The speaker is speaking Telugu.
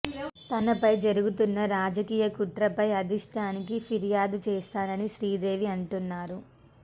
తనపై జరుగుతున్న రాజకీయ కుట్రపై అధిష్టానానికి ఫిర్యాదు చేస్తానని శ్రీదేవి అంటున్నారు